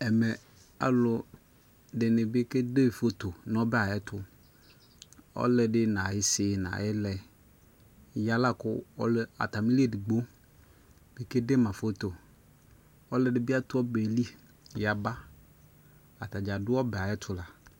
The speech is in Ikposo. Ɛmɛ aluɛ dini bi kɛ de foto nu ɔbɛ ya atuƆlɔdi na yi si na yi lɛ ya la kuata mi li ɛdigbo kɛdema fotoƆluɛ dini bi atu ɛbɛ li ya ba Atadza du ɔbɛ yɛ atu la